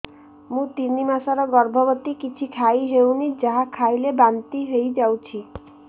ମୁଁ ତିନି ମାସର ଗର୍ଭବତୀ କିଛି ଖାଇ ହେଉନି ଯାହା ଖାଇଲେ ବାନ୍ତି ହୋଇଯାଉଛି